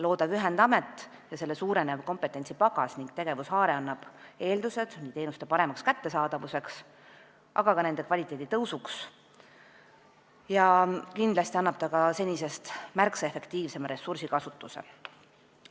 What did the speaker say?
Loodav ühendamet ja selle suurenev kompetentsipagas ning laiem tegevushaare annab eeldused teenuste paremaks kättesaadavuseks, aga ka nende kvaliteedi tõusuks ja kindlasti annab ta senisest märksa efektiivsema ressursikasutuse.